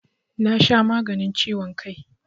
Na sha maganin ciwon kai